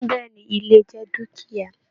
Bẹ̀ẹ́ni, ilẹ̀ jẹ dukia.